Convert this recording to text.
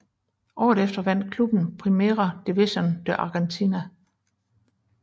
Året efter vandt klubben Primera División de Argentina